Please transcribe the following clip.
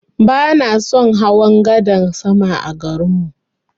Bana son hawa gadan sama a garin mu.